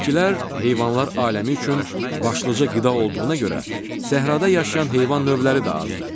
Bitkilər, heyvanlar aləmi üçün başlıca qida olduğuna görə səhrada yaşayan heyvan növləri də azdır.